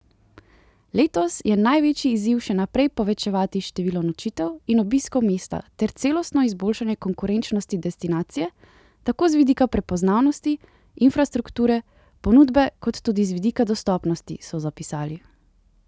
Letos je največji izziv še naprej povečevati število nočitev in obiskov mesta ter celostno izboljšanje konkurenčnosti destinacije, tako z vidika prepoznavnosti, infrastrukture, ponudbe kot tudi z vidika dostopnosti, so zapisali.